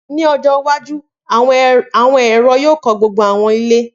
Ni ọjọ iwaju, awọn ẹrọ yoo kọ gbogbo awọn ile.